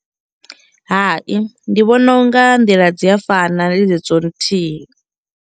Hai ndi vhona u nga nḓila dzi a fana ndi dzedzo nthihi.